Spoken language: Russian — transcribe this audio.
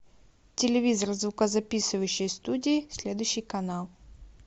телевизор в звукозаписывающей студии следующий канал